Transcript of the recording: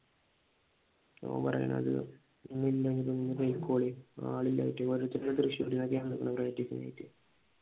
ഓൻ പറയുന്നത് ആളില്ലാഞ്ഞിട്ട് ഓരോരുത്തരെ തൃശ്ശൂരിന്നൊക്കെയാണ് ആളെ തെകക്കാൻ വേണ്ടിട്ട്